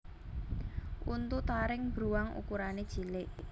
Untu taring bruwang ukurané cilik